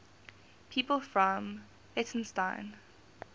people from leytonstone